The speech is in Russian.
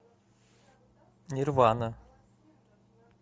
нирвана